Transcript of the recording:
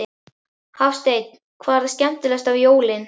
Hafsteinn: Hvað er það skemmtilegasta við jólin?